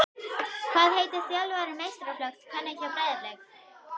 Hvað heitir þjálfari meistaraflokks kvenna hjá Breiðablik?